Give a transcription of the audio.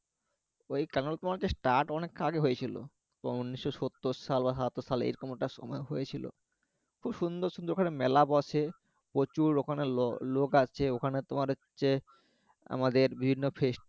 ওই এরা অনেক আগেই হয়েছিলো তো উনিশ সত্তর সাল বা সাতাত্তর সাল এরকম একটা সময়ে হয়েছিলো সুন্দর সুন্দর ওখানে মেলা বসে প্রচুর ওখানে লোক আসছে ওখানে তোমার হচ্ছে আমাদের বিভিন্ন